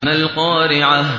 مَا الْقَارِعَةُ